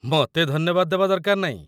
ମୋତେ ଧନ୍ୟବାଦ ଦେବା ଦରକାର ନାଇଁ